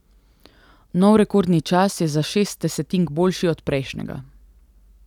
Nov rekordni čas je za šest desetink boljši od prejšnjega.